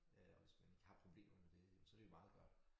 Øh og hvis man ikke har problemer med det men så det jo meget godt